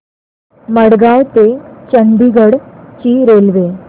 मडगाव ते चंडीगढ ची रेल्वे